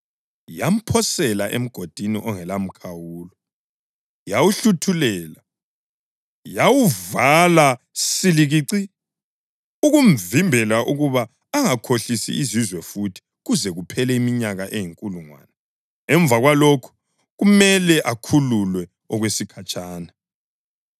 Yamphosela eMgodini ongelamkhawulo, yawuhluthulela, yawuvala silikici, ukumvimbela ukuba angakhohlisi izizwe futhi kuze kuphele iminyaka eyinkulungwane. Emva kwalokho kumele akhululwe okwesikhatshana.